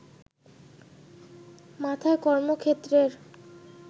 মাথায় কর্মক্ষেত্রের